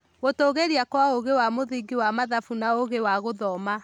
Gũtũgĩria kwa ũgĩ wa mũthingi wa mathabu na ugĩ wa gũthoma.